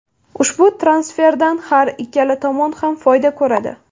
Ushbu transferdan har ikkala tomon ham foyda ko‘radi.